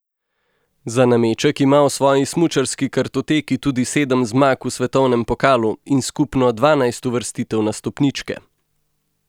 Za nameček ima v svoji smučarski kartoteki tudi sedem zmag v svetovnem pokalu in skupno dvanajst uvrstitev na stopničke.